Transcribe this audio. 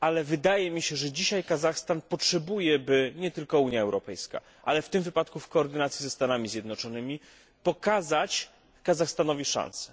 Wydaje mi się jednak, że dzisiaj Kazachstan potrzebuje by, nie tylko Unia Europejska, ale w tym wypadku w koordynacji ze Stanami Zjednoczonymi, pokazać Kazachstanowi szansę.